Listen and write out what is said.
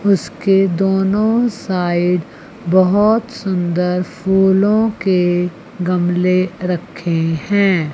उसके दोनों साईड बहोत सुंदर फूलों के गमले रखें हैं।